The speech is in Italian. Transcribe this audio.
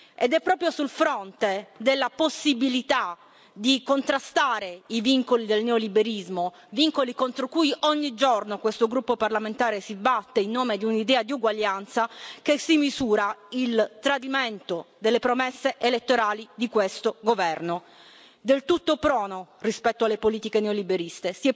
Ed è proprio sul fronte della possibilità di contrastare i vincoli del neoliberismo, vincoli contro cui ogni giorno questo gruppo parlamentare si batte in nome di un'idea di uguaglianza, che si misura il tradimento delle promesse elettorali di questo Governo, del tutto prono rispetto alle politiche neoliberiste.